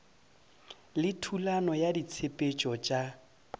le thulano ya ditshepetšo tša